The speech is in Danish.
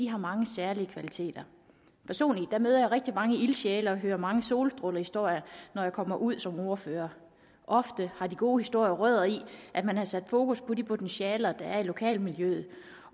har mange særlige kvaliteter personligt møder jeg rigtig mange ildsjæle og hører mange solstrålehistorier når jeg kommer ud som ordfører ofte har de gode historier rødder i at man har sat fokus på de potentialer der er i lokalmiljøet